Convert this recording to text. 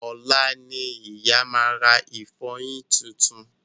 Ọ̀la ni ìyá ma rà ìfọyín titun